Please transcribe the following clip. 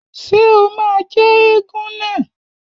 Ṣé o máa jẹ́ éégún náà?